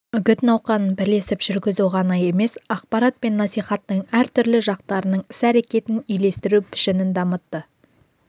үгіт науқанын бірлесіп жүргізу ғана емес ақпарат пен насихаттың әртүрлі жақтарының іс-әрекетін үйлестіру пішінін дамытты